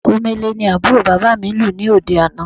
Omele ni àbúrò bàbà mi lù ní òde àná